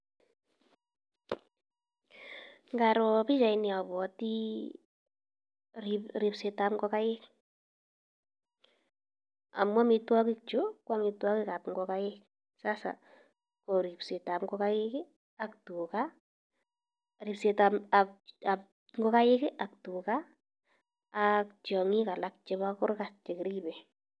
Ngaro pichaini abwoti ribsetab kogaik, amu amitwogik chu ko amitwogikab kogaik sasa ko ribsetab kogaik ak tuga, ribsetab ab ab kogaik ak tuga ak tiong'ik alak chebo kurgat chekiribe.